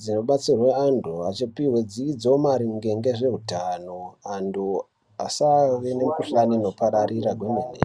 dzinobatsirwa antu achipihwa dzidzo maringe nezveutano. Antu asve nemikhuhlani inopararira kwemene.